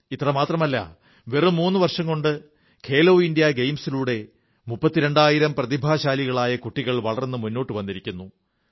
ഇത്രമാത്രമല്ല വെറും മൂന്നു വർഷം കൊണ്ട് ഖേലോ ഇന്ത്യാ ഗെയിംസിലൂടെ മുപ്പത്തിരണ്ടായിരം പ്രതിഭാശാലികളായ കുട്ടികൾ വളർന്നു മുന്നോട്ടു വന്നിരിക്കുന്നു